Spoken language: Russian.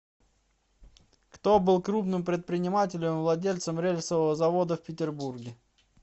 кто был крупным предпринимателем владельцем рельсового завода в петербурге